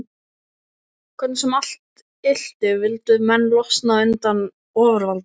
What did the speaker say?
Hvernig sem allt ylti vildu menn losna undan ofurvaldi